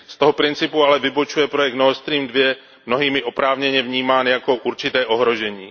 Z toho principu ale vybočuje projekt Nordstream II, mnohými oprávněně vnímán jako určité ohrožení.